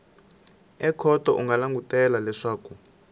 ekhoto u nga langutela leswaku